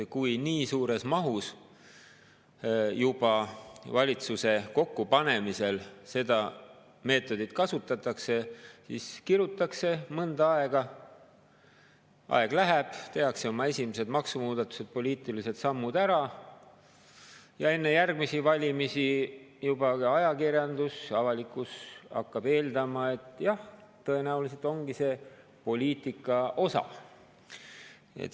Kui juba valitsuse kokkupanemisel nii suures mahus seda meetodit kasutatakse, kirutakse mõnda aega, aeg läheb edasi, tehakse oma esimesed maksumuudatused, poliitilised sammud ära, siis enne järgmisi valimisi ajakirjandus ja avalikkus juba eeldab, et jah, tõenäoliselt ongi see poliitika osa.